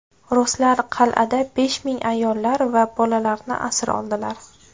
Ruslar qal’ada besh ming ayollar va bolalarni asir oldilar.